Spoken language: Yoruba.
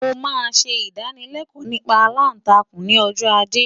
Mo máa ṣe ìdánılẹ́kọ̀ọ́ nípa aláǹtakùn ni ọjọ́ ajé.